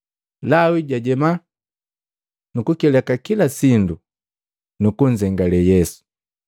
Lawi jajema, nukukileka kila sindu nukunzengale Yesu.